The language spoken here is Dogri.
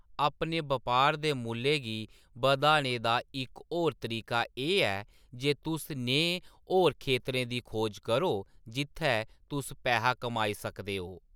अपने बपार दे मुल्लै गी बधाने दा इक होर तरीका एह् ऐ जे तुस नेहे होर खेतरें दी खोज करो जित्थै तुस पैहा कमाई सकदे ओ।